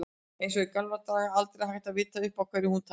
Eins og í gamla daga, aldrei hægt að vita upp á hverju hún tæki.